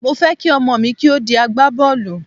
Mo fẹ́ kí ọmọ mi kí ó di agbá bọ́ọ̀lù.